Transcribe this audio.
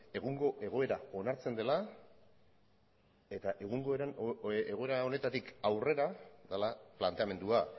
egungo egoera onartzen dela eta egungo egoera honetatik aurrera dela planteamendua